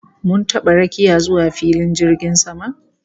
Mun taba rakiya zuwa filin jirgin sama